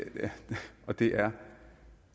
og det er